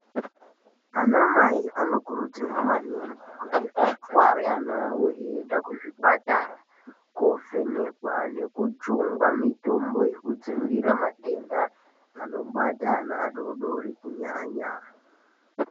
Ana mai anokurudzirwa maningi kuti atware ana awo eienda kuzvipatara koovhenekwa nekujungwa mitombo yekudzivirira matenda anobata ana adoodori kunyanya.